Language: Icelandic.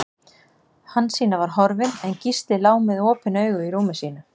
Hansína var horfin, en Gísli lá með opin augu í rúmi sínu.